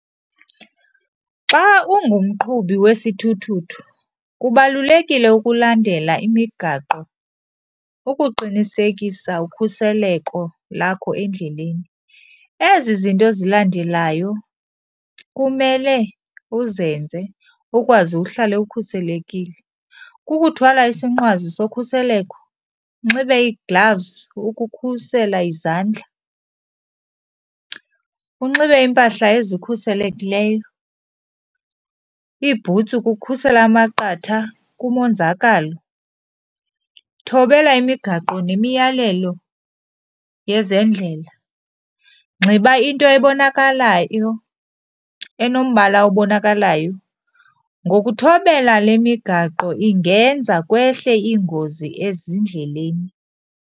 Xa ungumqhubi wesithuthuthu kubalulekile ukulandela imigaqo ukuqinisekisa ukhuseleko lakho endleleni. Ezi zinto zilandelayo kumele uzenze ukwazi uhlale ukhuselekile. Kukuthwala isinqwazi sokhuseleko, unxibe igilavuzi ukukhusela izandla, unxibe impahla ezikhuselekileyo, iibhutsi ukukhusela amaqatha kumonzakalo. Thobela imigaqo nemiyalelo yezendlela, nxiba into ebonakalayo enombala obonakalayo. Ngokuthobela le migaqo ingenza kwehle ingozi ezindleleni.